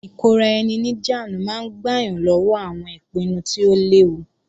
Ìkóra-ẹni-níjàánu máa ń gbà yàn lọ́wọ́ àwọn ìpinnu tí ó léwu